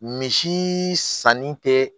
Misi sanni tɛ